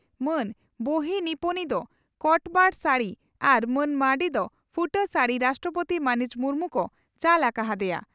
ᱢᱟᱱ ᱵᱟᱦᱤᱱᱤᱯᱚᱛᱤ ᱫᱚ ᱠᱚᱴᱯᱟᱰ ᱥᱟᱹᱲᱤ ᱟᱨ ᱢᱟᱹᱱ ᱢᱟᱨᱱᱰᱤ ᱫᱚ ᱯᱷᱩᱴᱟᱹ ᱥᱟᱹᱲᱤ ᱨᱟᱥᱴᱨᱚᱯᱳᱛᱤ ᱢᱟᱹᱱᱤᱡ ᱢᱩᱨᱢᱩ ᱠᱚ ᱪᱟᱞ ᱟᱠᱟ ᱦᱟᱫᱮᱭᱟ ᱾